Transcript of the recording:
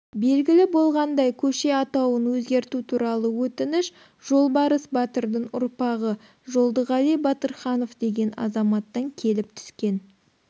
белгілі болғандай көше атауын өзгерту туралы өтініш жолбарыс батырдың ұрпағы жолдығали батырханов деген азаматтан келіп түскен